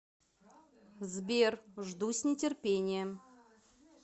сбер жду с нетерпением